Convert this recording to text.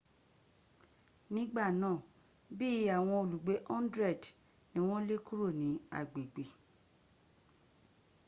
nigba naa bii awon olugbe 100 ni won le kuro ni agbegbe